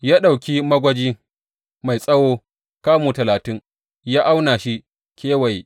Ya ɗauki magwaji mai tsawo kamu talatin ya auna shi kewaye.